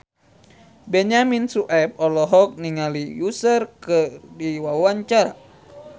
Benyamin Sueb olohok ningali Usher keur diwawancara